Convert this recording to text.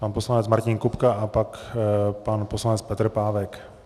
Pan poslanec Martin Kupka a pak pan poslanec Petr Pávek.